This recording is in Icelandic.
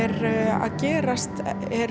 að gerast